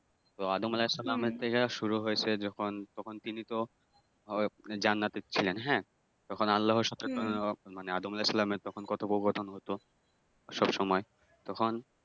আদম আলাহিসাল্লামের থেকে শুরু হইছে যখন তখন তিনি তো ওই জান্নাতএ ছিলেন হ্যাঁ তখন আল্লাহর সাথে তো মানে আদম আলাহিসাল্লামের তখন কথোপকথন হতো সবসময় তখন